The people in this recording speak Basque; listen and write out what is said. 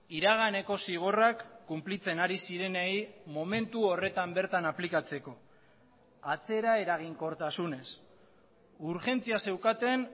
iraganeko zigorrak kunplitzen ari zirenei momentu horretan bertan aplikatzeko atzera eraginkortasunez urgentzia zeukaten